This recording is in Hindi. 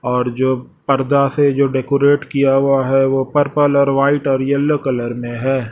और जो पर्दा से जो डेकोरेट किया हुआ है वो पर्पल और वाइट और येलो कलर में है।